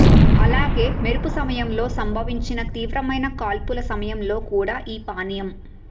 అలాగే మెరుపు సమయంలో సంభవించిన తీవ్రమైన కాల్పుల సమయంలో కూడా ఈ పానీయం